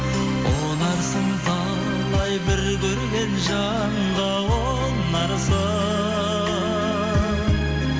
ұнарсың талай бір көрген жанға ұнарсың